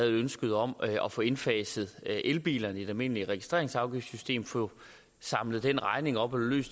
af ønsket om at få indfaset elbilerne i det almindelige registreringsafgiftssystem få samlet den regning op og